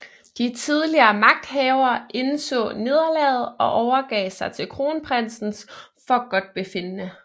De tidligere magthavere indså nederlaget og overgav sig til kronprinsens forgodtbefindende